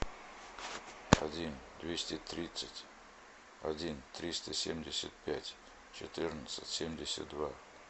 один двести тридцать один триста семьдесят пять четырнадцать семьдесят два